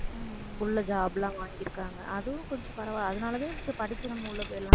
உள்ள job லாம் வாங்கிருக்காங்க. அதுவும் கொஞ்சம் பரவாயில்லை. அதனாலதான் படிச்சு நம்ம உள்ள போயிடலாம்.